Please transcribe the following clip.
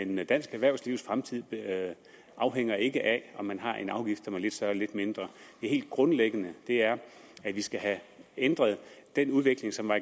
men dansk erhvervslivs fremtid afhænger ikke af om man har en afgift som er lidt større eller lidt mindre det helt grundlæggende er at vi skal have ændret den udvikling som har